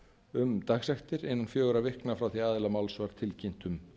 um dagsektir innan fjögurra vikna frá því að aðila máls var tilkynnt um